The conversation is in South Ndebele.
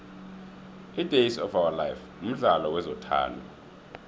idays of ourlife mdlalo wezothando